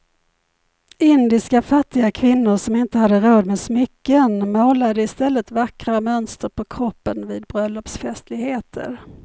Indiska fattiga kvinnor som inte hade råd med smycken målade i stället vackra mönster på kroppen vid bröllopsfestligheter.